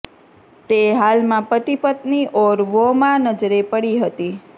તે હાલમાં પતિ પત્નિ ઔર વોમાં નજરે પડી હતી